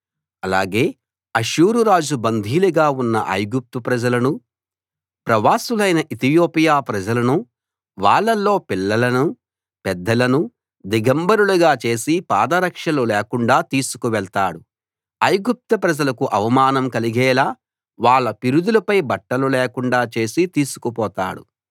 అలాగే అష్షూరు రాజు బందీలుగా ఉన్న ఐగుప్తు ప్రజలనూ ప్రవాసులైన ఇతియోపియా ప్రజలనూ వాళ్ళలో పిల్లలనూ పెద్దలనూ దిగంబరులుగా చేసి పాదరక్షలు లేకుండా తీసుకు వెళ్తాడు ఐగుప్తు ప్రజలకు అవమానం కలిగేలా వాళ్ళ పిరుదులపై బట్టలు లేకుండా చేసి తీసుకుపోతాడు